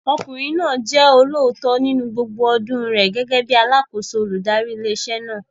Ọkùnrin náà jẹ́ olóòótọ́ nínú gbogbo ọdún rẹ̀ gẹ́gẹ́ bíi alákòóso olùdarí ilé iṣẹ́ náà.